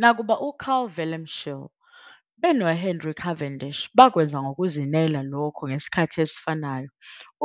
Nakuba uCarl Wilhelm Scheele beno Henry Cavendish bakwenza ngokuzinela lokho ngesikhathi esifanayo,